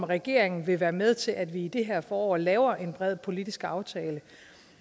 regeringen være med til at vi i det her forår laver en bred politisk aftale